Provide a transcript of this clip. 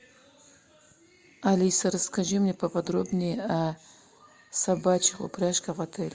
алиса расскажи мне поподробнее о собачьих упряжках в отеле